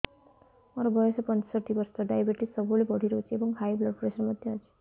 ମୋର ବୟସ ପଞ୍ଚଷଠି ବର୍ଷ ଡାଏବେଟିସ ସବୁବେଳେ ବଢି ରହୁଛି ଏବଂ ହାଇ ବ୍ଲଡ଼ ପ୍ରେସର ମଧ୍ୟ ଅଛି